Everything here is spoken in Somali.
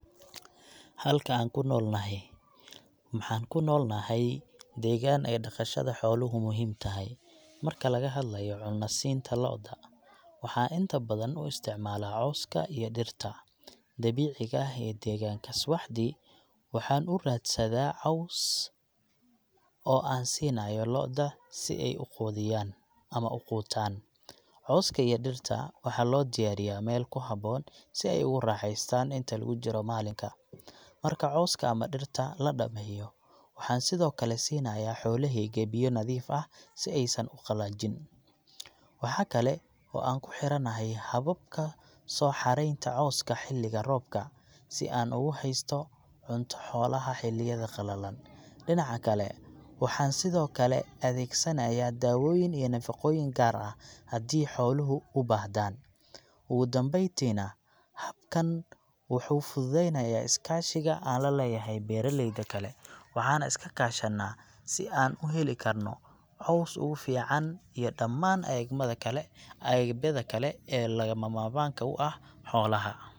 Halka aan ku noolnahay, maxaan ku noolnahay deegaan ay dhaqashada xooluhu muhiim tahay. Marka laga hadlayo cunno siinta lo'da, waxaan inta badan u isticmaalaa cawska iyo dhirta dabiiciga ah ee deegaanka. Subaxdii, waxaan u soo raadsadaa caws oo aan siinayno lo'da si ay u quudiyaan ama u qutaan. Cawska iyo dhirta waxaa loo diyaariyaa meel ku habboon, si ay ugu raaxaystaan inta lagu jiro maalinka. Marka cawska ama dhirta la dhammeeyo, waxaan sidoo kale siinayaa xoolahayga biyo nadiif ah, si aysan u qallajin. Waxa kale oo aan ku xiranahay hababka soo xareynta cawska xilliga roobka, si aan ugu haysto cunto xoolaha xilliyada qalalan. Dhinaca kale, waxaan sidoo kale adeegsanayaa dawooyin iyo nafaqooyin gaar ah, haddii xooluhu u baahdaan. Ugu dambeyntiina, habkan waxuu fududeynayaa iskaashiga aan la leeyahay beeralayda kale, waxaana iska kaashanaa si aan u heli karno caws ugu fiican iyo dhammaan eegmada kale, agabyada kale ee lagama maarmaanka u ah xoolaha.